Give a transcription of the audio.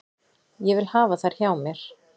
Ég vil hafa þær hjá mér.